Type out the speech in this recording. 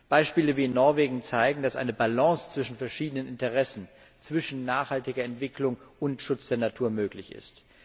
Beispiele wie in Norwegen zeigen, dass eine Balance zwischen verschiedenen Interessen, zwischen nachhaltiger Entwicklung und Schutz der Natur möglich ist.